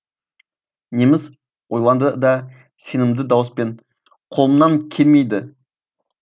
неміс ойланды да сенімді дауыспен қолымнан келмейді